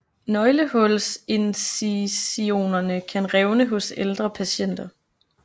Nøglehulsincisionerne kan revne hos ældre patienter